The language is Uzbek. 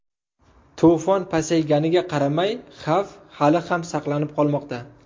To‘fon pasayganiga qaramay, xavf hali ham saqlanib qolmoqda.